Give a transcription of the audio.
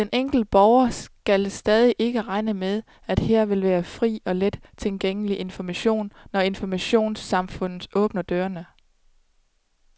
Den enkelte borger skal stadig ikke regne med, at her vil være fri og let tilgængelig information, når informationssamfundet åbner dørene.